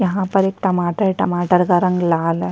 यह पर एक टमाटर है टमाटर का रंग लाल है।